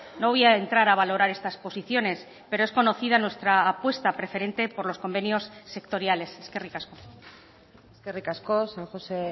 no voy a entrar a valorar estas posiciones pero es conocida nuestra apuesta preferente por los convenios sectoriales eskerrik asko eskerrik asko san josé